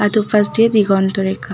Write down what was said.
আর দুপাশ দিয়ে দিগন্ত রেখা।